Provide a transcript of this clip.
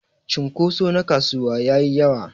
cunkuso na kasuwa yayi yawa.